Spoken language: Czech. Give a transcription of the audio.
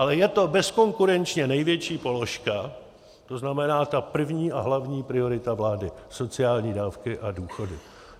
Ale je to bezkonkurenčně největší položka, to znamená ta první a hlavní priorita vlády - sociální dávky a důchody.